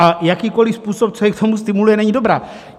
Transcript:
A jakýkoliv způsob, co je k tomu stimuluje, není dobrý.